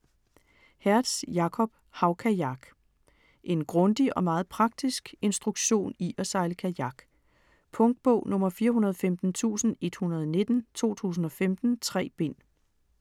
Hertz, Jakob: Havkajak En grundig og meget praktisk instruktion i at sejle kajak. Punktbog 415119 2015. 3 bind.